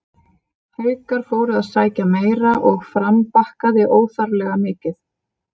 Haukar fóru að sækja meira og Fram bakkaði óþarflega mikið.